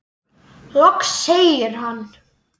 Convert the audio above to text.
Loks segir hann